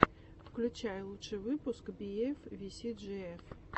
включай лучший выпуск би эф ви си джи эф